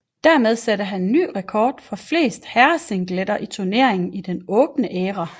Dermed satte han ny rekord for flest herresingletitler i turneringen i den åbne æra